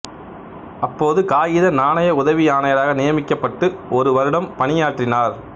அப்போது காகித நாணய உதவி ஆணையராக நியமிக்கப்பட்டு ஒரு வருடம் பணியாற்றினார்